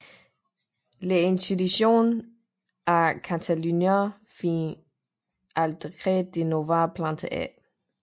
Les Institucions a Catalunya fins al Decret de Nova Planta Ed